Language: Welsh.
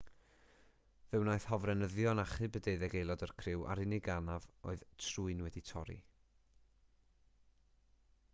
fe wnaeth hofrenyddion achub y deuddeg aelod o'r criw a'r unig anaf oedd trwyn wedi torri